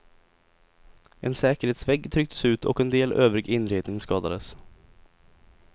En säkerhetsvägg trycktes ut och en del övrig inredning skadades.